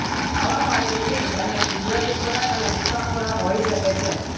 આવા પાલતુ ફીડ બંને કુદરતી ખોરાક અને સૂકા ખોરાક હોઈ શકે છે